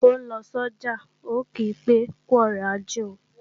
Ó ń lọ sọ́jà, ń ò kí pé "kú ọrọ̀ ajé o"